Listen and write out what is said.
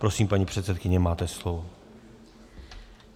Prosím, paní předsedkyně, máte slovo.